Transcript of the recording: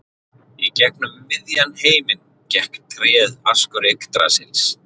Í gegnum miðjan heiminn gekk tréð Askur Yggdrasils.